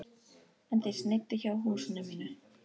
En þeir sneiddu hjá húsinu mínu.